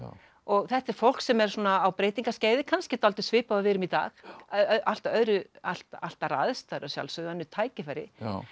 og þetta er fólk sem er svona á breytingaskeiði kannski dálítið svipað og við erum í dag allt allt allt aðrar aðstæður að sjálfsögðu önnur tækifæri